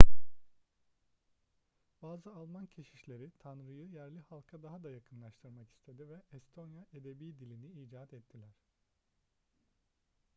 bazı alman keşişleri tanrı'yı yerli halka daha da yakınlaştırmak istedi ve estonya edebi dilini icat ettiler